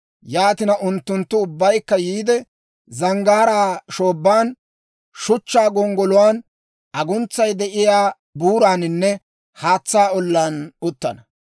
Yaatina, unttunttu ubbaykka yiide, zanggaaraa shoobban, shuchchaa gonggoluwaan, aguntsay de'iyaa buuraaninne haatsaa olaan uttana.